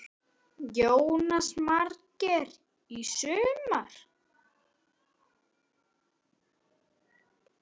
Jónas Margeir: Í sumar?